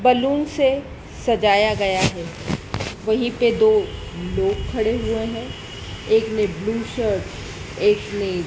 balloon से सजाया गया है वहीं पे दो लोग खड़े हुए हैं एक ने ब्लू शर्ट एक ने --